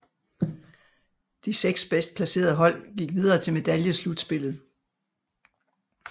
De seks bedst placerede hold gik videre til medaljeslutspillet